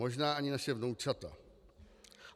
Možná ani naše vnoučata.